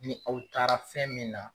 Ni aw taara fɛn min na